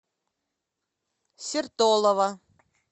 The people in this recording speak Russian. сертолово